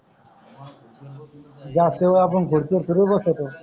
जास्त वेळ आपण खुर्ची वर थोडी बसतो